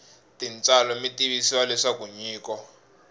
tintswalo mi tivisiwa leswaku nyiko